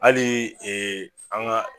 Ali e an ga